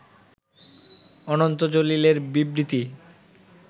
অনন্ত জলিলের বিবৃতি